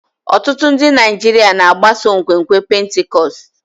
Ọtụtụ ndị Naijiria na-agbaso nkwenkwe Pentikọst.